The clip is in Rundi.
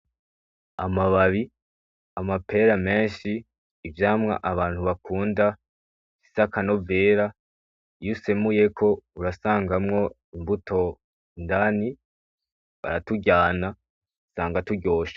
Amababi amapera menshi ivyamwa abantu bakunda bifise akanovera iyo usemuyeko urasangamwo imbuto indani baraturyana usanga turyoshe.